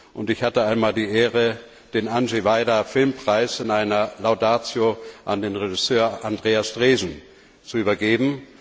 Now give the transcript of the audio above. Und ich hatte einmal die Ehre, den Andrzej Wajda Filmpreis in einer Laudatio an den Regisseur Andreas Dresen zu übergeben.